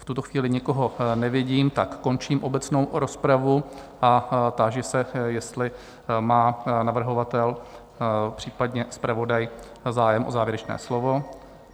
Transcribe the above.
V tuto chvíli nikoho nevidím, tak končím obecnou rozpravu a táži se, jestli má navrhovatel, případně zpravodaj zájem o závěrečné slovo?